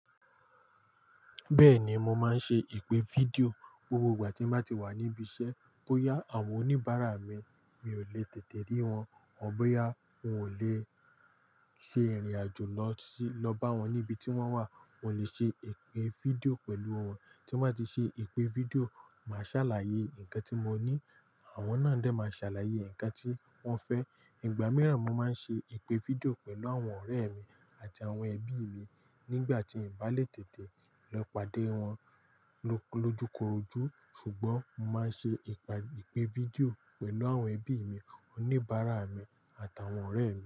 Bẹ́ẹ̀ni, mo máa ń ṣe ìpè fídíò gbogbo ìgbà tí mo bá ti wà níbi iṣẹ́. Bóyá àwọn oníbàárà mi, mi ò le tètè rí wọn, or bóyá wọn ò lè ṣe ìrìnàjò lọ bá wọn níbi tí wọ́n wà. Mo lè ṣe ìpè fídíò pẹ̀lú wọn. Tí mo bá ti ṣe ìpè fídíò, màá ṣàlàyé nǹkan tí mo ní, àwọn náà dẹ̀ máa ṣàlàyé nǹkan tí wọ́n fẹ́. Ìgbà mìíràn, mo máa ń ṣe ìpè fídíò pẹ̀lú àwọn ọ̀rẹ́e mi àti àwọn ẹbií mi nígbà tí n bá lè tètè lọ pàdé wọn lójúkorojú. Ṣùgbọ́n mo máa ń ṣe ìpè fídíò pẹ̀lú àwọn ẹbí mi, oníbàárà mi, àtàwọn ọ̀rẹ́ mi.